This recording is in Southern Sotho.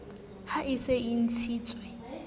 ha e se e ntshitswe